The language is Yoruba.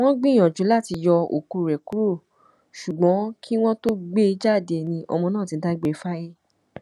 wọn gbìyànjú láti yọ òkú rẹ kúrò ṣùgbọn kí wọn tóó gbé e jáde ni ọmọ náà ti dágbére fáyé